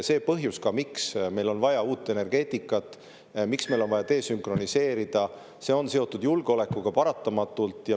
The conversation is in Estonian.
See põhjus, miks meil on vaja uut energeetikat, miks meil on vaja desünkroniseerida, on paratamatult seotud julgeolekuga.